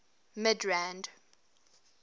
midrand